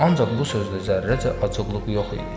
Ancaq bu sözdə zərrəcə acıqlıq yox idi.